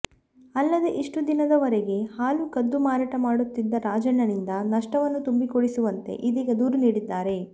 ಅಲ್ಲದೇ ಇಷ್ಟು ದಿನದ ವರೆಗೆ ಹಾಲು ಕದ್ದು ಮಾರಾಟ ಮಾಡುತ್ತಿದ್ದ ರಾಜಣ್ಣನಿಂದ ನಷ್ಟವನ್ನು ತುಂಬಿಕೊಡಿಸುವಂತೆ ಇದೀಗ ದೂರು ನೀಡಿದ್ದಾರೆ